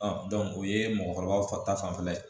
o ye mɔgɔkɔrɔbaw fa ta fanfɛla ye